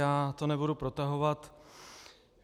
Já to nebudu protahovat.